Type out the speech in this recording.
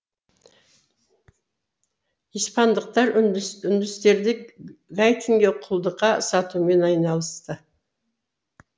испандықтар үндістерді гаитиге құлдыққа сатумен айналысты